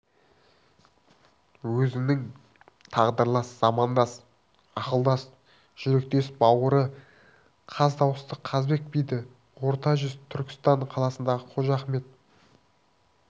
өзінің тағдырлас замандас ақылдас жүректес бауыры қаз дауысты қазыбек биді орта жүз түркістан қаласындағы қожа ахмет